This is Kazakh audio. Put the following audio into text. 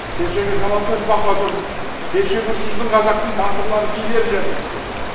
кешегі жалаңтөс бахадүр кешегі үш жүздің қазақтың батырлары билері жатыр осы жерде